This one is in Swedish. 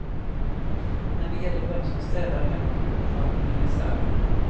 När det gäller vem som städar hemma går uppfattningarna isär.